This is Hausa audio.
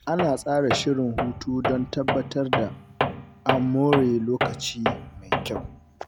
Ana tsara shirin hutu don tabbatar da an more lokaci mai kyau.